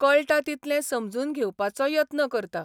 कळटा तितलें समजून घेवपाचो यत्न करता.